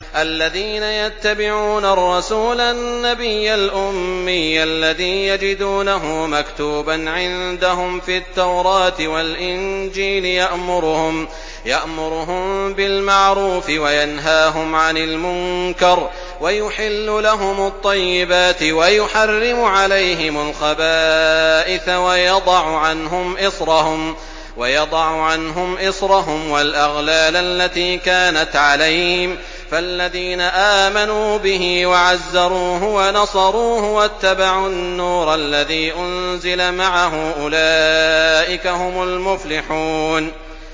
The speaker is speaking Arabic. الَّذِينَ يَتَّبِعُونَ الرَّسُولَ النَّبِيَّ الْأُمِّيَّ الَّذِي يَجِدُونَهُ مَكْتُوبًا عِندَهُمْ فِي التَّوْرَاةِ وَالْإِنجِيلِ يَأْمُرُهُم بِالْمَعْرُوفِ وَيَنْهَاهُمْ عَنِ الْمُنكَرِ وَيُحِلُّ لَهُمُ الطَّيِّبَاتِ وَيُحَرِّمُ عَلَيْهِمُ الْخَبَائِثَ وَيَضَعُ عَنْهُمْ إِصْرَهُمْ وَالْأَغْلَالَ الَّتِي كَانَتْ عَلَيْهِمْ ۚ فَالَّذِينَ آمَنُوا بِهِ وَعَزَّرُوهُ وَنَصَرُوهُ وَاتَّبَعُوا النُّورَ الَّذِي أُنزِلَ مَعَهُ ۙ أُولَٰئِكَ هُمُ الْمُفْلِحُونَ